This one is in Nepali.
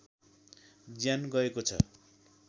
ज्यान गएको छ